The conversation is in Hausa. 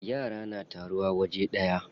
Yara na taruwa waje daya.